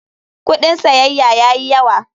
Kudin siyayya ya yi yawa.